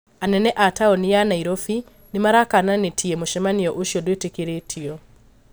Anene a taũni ya Nairobi nĩmarakananĩtie mũcemanio ũcio ndwĩtikĩrĩtio